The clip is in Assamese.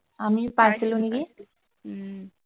আমিও পাইছিলো নেকি উম